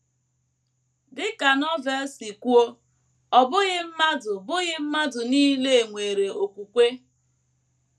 Dị ka Novel si kwuo, “ ọ bụghị mmadụ bụghị mmadụ nile nwere okwukwe. ”